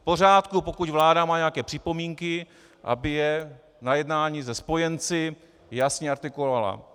V pořádku, pokud vláda má nějaké připomínky, aby je na jednání se spojenci jasně artikulovala.